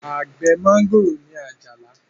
Àgbẹ̀ mọ́ngòrò ni Àjàní